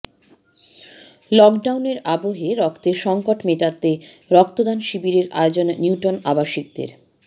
লকডাউনের আবহে রক্তের সংকট মেটাতে রক্তদান শিবিরের আয়োজন নিউটাউন আবাসিকদের